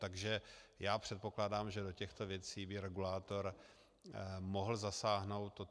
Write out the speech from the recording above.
Takže já předpokládám, že do těchto věcí by regulátor mohl zasáhnout.